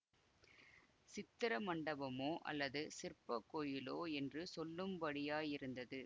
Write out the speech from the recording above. சித்திர மண்டபமோ அல்லது சிற்பக் கோயிலோ என்று சொல்லும்படியாயிருந்தது